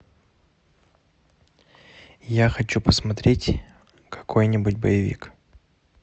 я хочу посмотреть какой нибудь боевик